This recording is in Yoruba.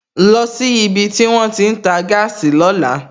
Lọ sí ibi tí wón ti ń tà gáàsì lóla!